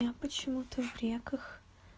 я почему-то в реках